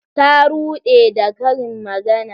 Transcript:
Ta rude da karin magana.